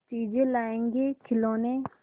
चीजें लाएँगेखिलौने